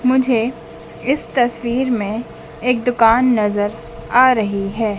मुझे इस तस्वीर में एक दुकान नजर आ रही है।